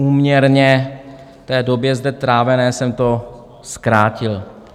Úměrně té době zde strávené jsem to zkrátil.